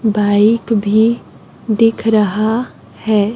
Bike भी दिख रहा है।